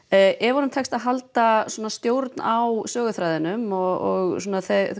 ef honum tekst að halda og stjórn á söguþræðinum og